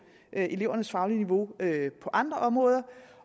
elevernes faglige niveau på andre områder